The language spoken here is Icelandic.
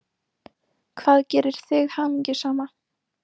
Hvað gerir þig hamingjusama?